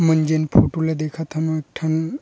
मन जन फोटो ला देखत हन एक ठन --